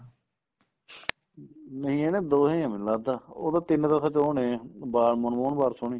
ਨਹੀਂ ਇਹ ਨਾ ਦੋਏ ਹੀ ਏ ਮੈਨੂੰ ਲਗਦਾ ਉਹ ਤਾਂ ਤਿੰਨ ਤਾਂ ਸਚ ਉਹ ਨੇ ਵਾਰ ਮਨਮੋਹਨ ਵਾਰਸ ਉਹਨੀ